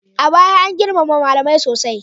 A baya, an girmama malamai sosai.